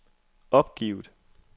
opgivet